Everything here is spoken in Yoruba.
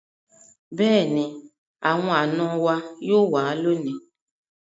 Beeni, awon ana yoo wa loni